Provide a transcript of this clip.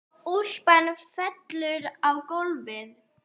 Úlpan fellur á gólfið.